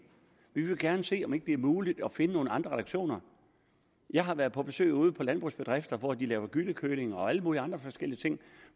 vil gerne se om ikke det er muligt at finde nogle andre reduktioner jeg har været på besøg ude på landbrugsbedrifter hvor de laver gyllekøling og alle mulige andre forskellige ting